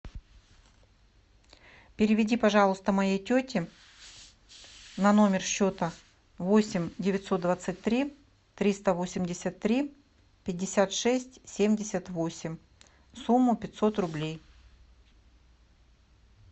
переведи пожалуйста моей тете на номер счета восемь девятьсот двадцать три триста восемьдесят три пятьдесят шесть семьдесят восемь сумму пятьсот рублей